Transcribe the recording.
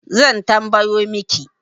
Zan tambayo miki